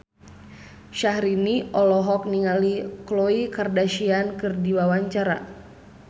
Syahrini olohok ningali Khloe Kardashian keur diwawancara